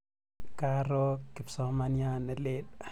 Karo kipsomaniat ne lel.